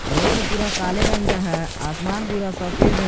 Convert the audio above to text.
Road पूरा काले रंग का है आसमान पूरा सफेद है।